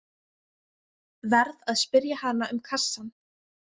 Verð að spyrja hana um kassann.